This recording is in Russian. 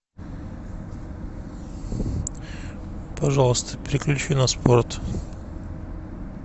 пожалуйста переключи на спорт